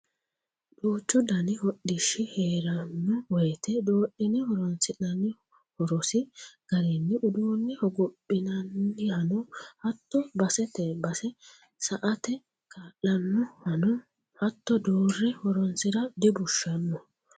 Duuchu dani hodhishshi heerano woyte doodhine horonsi'nanni horosi garinni uduune hogophinanihano hatto basete base sa"ate kaa'lanohano hatto doore horonsira dibushshano.